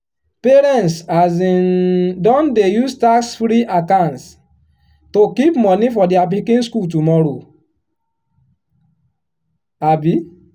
parents um don dey use tax-free accounts to keep money for their pikin school tomorrow. um